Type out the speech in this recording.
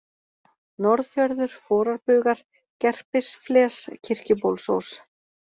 Norðfjörður, Forarbugar, Gerpisfles, Kirkjubólsós